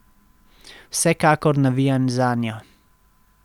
Vsekakor navijam zanjo.